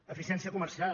eficiència comercial